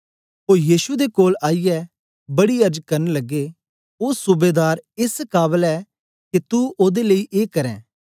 ओ यीशु दे कोल आईयै बड़ी अर्ज करन लगे ओ सूबेदार एस काबल ऐ के तू ओदे लेई ए करें